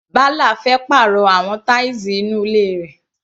Bala fẹ́ pàrọ̀ àwọn tiles inú ilé rẹ̀.